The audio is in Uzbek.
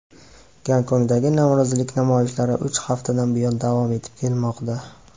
Gonkongdagi norozilik namoyishlari uch haftadan buyon davom etib kelmoqda.